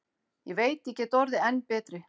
Ég veit ég get orðið enn betri.